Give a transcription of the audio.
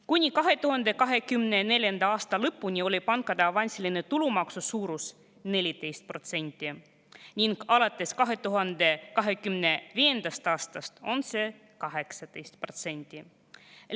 Kuni 2024. aasta lõpuni oli pankade avansilise tulumaksu suurus 14% ning alates 2025. aastast on see 18%.